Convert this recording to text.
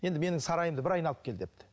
енді менің сарайымды бір айналып кел депті